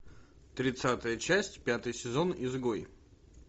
тридцатая часть пятый сезон изгой